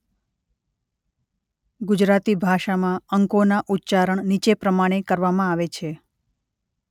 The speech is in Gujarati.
ગુજરાતી ભાષામાં અંકોના ઉચ્ચારણ નીચે પ્રમાણે કરવામાં આવે છે.